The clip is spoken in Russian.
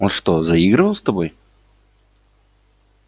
он что заигрывал с тобой